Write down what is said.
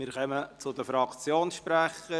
Wir kommen zu den Fraktionssprechern.